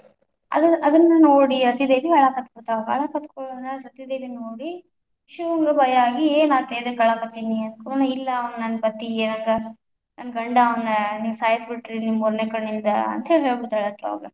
ಅದು~ ಅದನ್ನ ನೋಡಿ ರತಿದೇವಿ ಅಳಾಕತ್ತಬಿಡ್ತಾಳ, ಅಳಾಕುತ್‌ಕುಳ್ಳೇನಾ ರತಿ ದೇವಿನ್ನ ನೋಡಿ ಶಿವಂಗ ಭಯ ಆಗಿ ಏನಾತ ಎದಕ್ಕ ಅಳಕತ್ತೀನಿ ಅಂದಕುಳ್ಳೇನ, ಇಲ್ಲಾ ಅವಾ ನನ್ನ ಪತಿ, ನನ್ನ ಗಂಡ ಅವನ, ನೀವು ಸಾಯಿಸಿ ಬಿಟ್ಟರಿ ನಿಮ್ಮ ಮೂರನೇ ಕಣ್ಣಿಂದ ಅಂತೇಳಿ ಹೇಳಬಿಡ್ತಾಳ ಅಕಿ ಅವಾಗ.